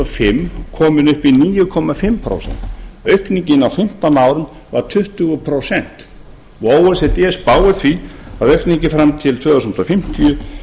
fimm komin upp í níu og hálft prósent aukningin á fimmtán árum varð tuttugu prósent o e c d spáir því að aukningin fram til tvö þúsund fimmtíu